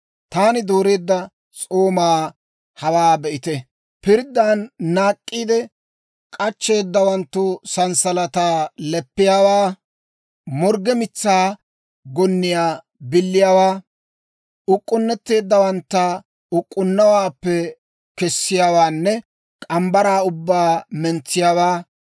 «Taani dooreedda s'oomaa hawaa be'ite: pirddaan naak'k'iide k'achcheeddawanttu sanssalataa leppiyaawaa, morgge mitsaa gonniyaa biliyaawaa, uk'k'unnetteeddawantta uk'k'unnuwaappe kessiyaawaanne morgge mitsaa ubbaa mentsiyaawaa.